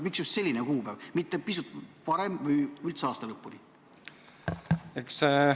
Miks just selline kuupäev, mitte pisut varem või üldse aasta lõpuni?